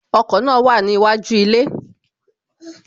Ọkọ̀ náà wà níwájú ilé